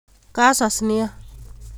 Kasas nia